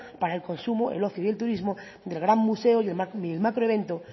para el consumo el ocio y el turismo del gran museo y el macro evento